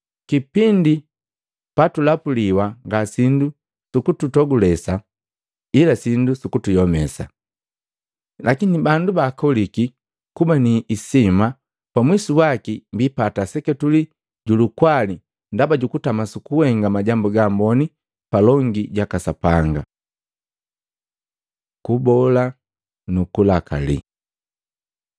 Kipindi pa tulapuliwa nga sindu su kutogulesa ila sindu su kuyomesa. Lakini bandu ba baaboliki kuba ni isima pamwisu waki biipata seketuli ju lukwali ndaba ju kutama su kuhenga majambu gaamboni palongi jaka Sapanga. Kubola nu kulakali